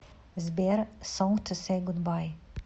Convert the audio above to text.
сбер сонг ту сэй гудбай